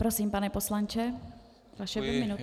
Prosím, pane poslanče, vaše dvě minuty.